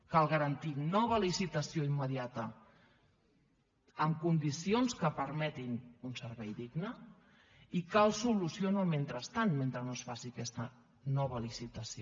cal garantir nova licitació immediata amb condicions que permetin un servei digne i cal solució en el mentrestant mentre no es faci aquesta nova licitació